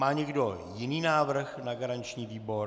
Má někdo jiný návrh na garanční výbor?